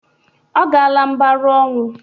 Ọ gala mbarụ ọnwụ.